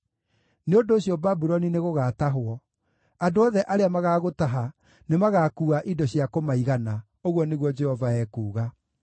Nĩ ũndũ ũcio Babuloni nĩgũgatahwo; andũ othe arĩa magaagũtaha nĩmagakuua indo cia kũmaigana,” ũguo nĩguo Jehova ekuuga.